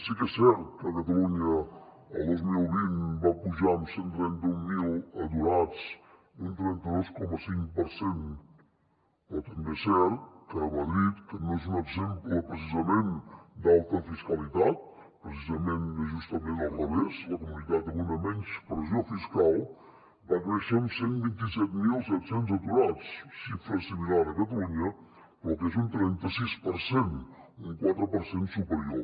sí que és cert que catalunya el dos mil vint va pujar en cent i trenta mil aturats un trenta dos coma cinc per cent però també és cert que madrid que no és un exemple precisament d’alta fiscalitat precisament és justament al revés la comunitat amb menys pressió fiscal va créixer en cent i vint set mil set cents aturats xifra similar a catalunya però que és un trenta sis per cent un quatre per cent superior